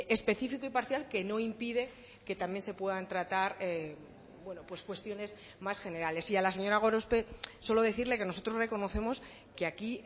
específico y parcial que no impide que también se puedan tratar pues cuestiones más generales y a la señora gorospe solo decirle que nosotros reconocemos que aquí